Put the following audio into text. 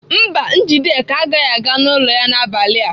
Mba, Njideka agaghị aga n'ụlọ ya n'abalị a.